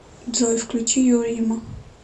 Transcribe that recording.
джой включи юрима